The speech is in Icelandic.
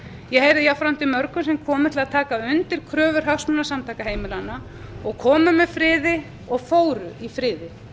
ég heyrði jafnframt í mörgum sem komu til taka undir kröfur hagsmunasamtaka heimilanna og komu með friði og fóru í friði